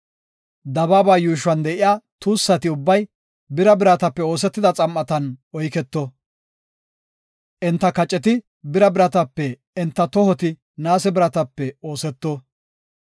Dabaaba yuushuwan de7iya tuussati ubbay bira biratape oosetida xam7atan oyketo; enta kaceti bira biratape, enta tohoti naase biratape ooseto.